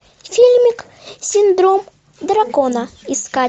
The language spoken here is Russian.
фильмик синдром дракона искать